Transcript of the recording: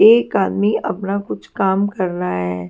एक आदमी अपना कुछ काम कर रहा है।